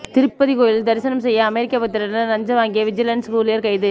திருப்பதி கோயிலில் தரிசனம் செய்ய அமெரிக்க பக்தரிடம் லஞ்சம் வாங்கிய விஜிலென்ஸ் ஊழியர் கைது